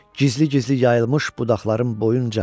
Gizli-gizli yayılmış budaqların boyunca.